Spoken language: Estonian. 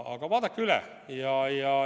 Aga vaadake üle!